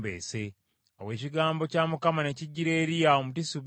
Awo ekigambo kya Mukama ne kijjira Eriya Omutisubi nti,